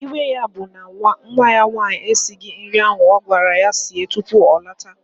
Iwe ya bụ na nwa ya nwaanyị esighị nri ahụ ọ gwara ya sie tupu ọ lọta